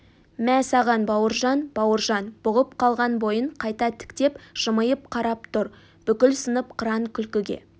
мә саған бауыржан бауыржан бұғып қалған бойын қайта тіктеп жымиып қарап тұр бүкіл сынып қыран күлкіге